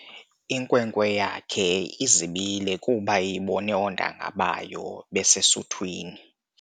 Inkwenkwe yakhe izibile kuba ibone oontanga bayo besesuthwini.